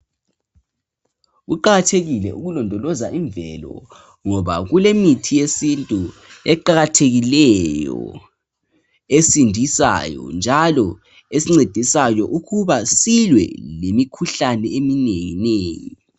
Kuqakathekile ukulondoloza imvelo ngoba kulemithi yesintu eqakathekileyo esindisayo njalo esincedisayo ukuba silwe lemikhuhlane eminengi nengi.